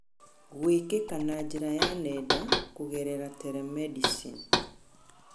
gwĩkĩka na njĩra ya nenda, kũgerera telemedicine.